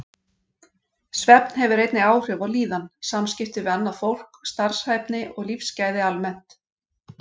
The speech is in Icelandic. Svefn hefur einnig áhrif á líðan, samskipti við annað fólk, starfshæfni og lífsgæði almennt.